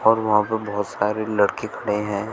और वहां पर बहोत सारे लड़के खड़े हैं।